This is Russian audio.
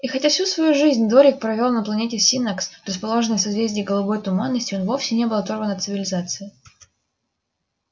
и хотя всю свою жизнь дорник провёл на планете синнакс расположенной в созвездии голубой туманности он вовсе не был оторван от цивилизации